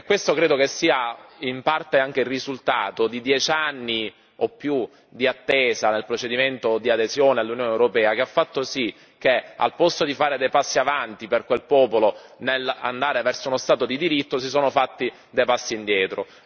Questo credo che sia, in parte, anche il risultato di 10 anni o più di attesa nel procedimento di adesione all'Unione europea, il che ha fatto sì che, al posto di fare dei passi avanti per quel popolo nell'andare verso uno Stato di diritto, si sono fatti dei passi indietro.